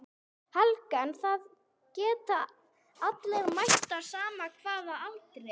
Helga: En það geta allir mætt á sama hvaða aldri?